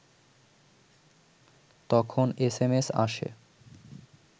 তখন এসএমএস আসে